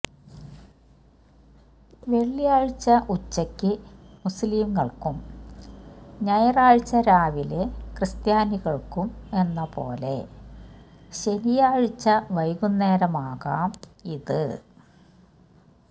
വെള്ളിയാഴ്ച ഉച്ചയ്ക്ക് മുസ്ലിങ്ങൾക്കും ഞായറാഴ്ച രാവിലെ ക്രിസ്ത്യാനികൾക്കുമെന്ന പോലെ ശനിയാഴ്ച വൈകുന്നേരമാകാം ഇത്